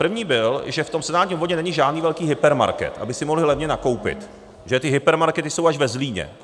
První byl, že v tom senátním obvodu není žádný velký hypermarket, aby si mohli levně nakoupit, že ty hypermarkety jsou až ve Zlíně.